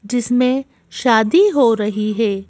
जिसमें शादी हो रही है।